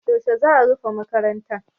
Yaushe za a rufe makaranta?